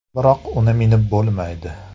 Biroq uni minib bo‘lmaydi.